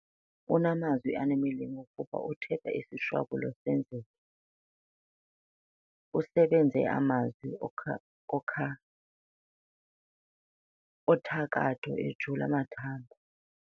Unamazwi anemilingo kuba uthetha isishwabulo senzeke. usebeze amazwi othakatho ejula amathambo